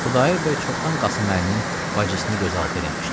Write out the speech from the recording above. Xudayar bəy çoxdan Qasımməlinin bacısını gözaltı eləmişdi.